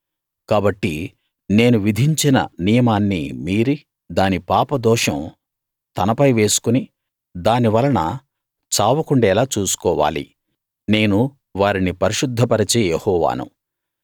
కాబట్టి నేను విధించిన నియమాన్ని మీరి దాని పాపదోషం తనపై వేసుకుని దాని వలన చావకుండేలా చూసుకోవాలి నేను వారిని పరిశుద్ధ పరిచే యెహోవాను